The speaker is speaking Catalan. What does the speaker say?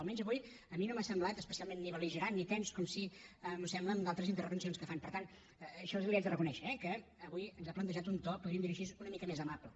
almenys avui a mi no m’ha semblat especialment ni bel·ligerant ni tens com sí que em sembla en d’altres intervencions que fa i per tant això l’hi haig de reconèixer eh que avui ens ha plantejat un to podríem dir ho així una mica més amable